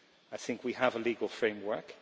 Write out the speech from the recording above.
I think we have a legal framework.